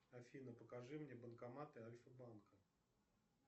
афина покажи мне банкоматы альфа банка